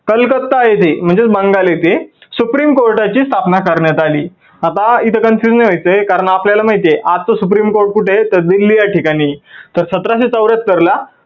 कलकत्ता येथे म्हणजेच बंगाल येथे supreme कोर्टाची स्थापना करण्यात आली. आता इथ confusion व्हायचय कारन आपल्याला माहिती आहे आपलं supreme court कुठ आहे तर दिल्ली च्या ठिकाणी. तर सतराशे चौर्ह्यात्तर ला